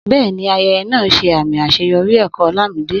Bẹ́ẹ̀ni, ayẹyẹ náà ṣe àmì àṣeyọrí ẹ̀kọ́ Olamide.